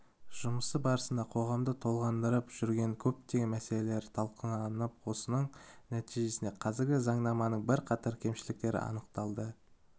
жұмысы барысында қоғамды толғандырып жүрген көптеген мәселелер талқыланып осының нәтижесінде қазіргі заңнаманың бірқатар кемшіліктері анықталды